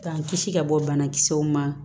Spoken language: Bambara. K'an kisi ka bɔ banakisɛw ma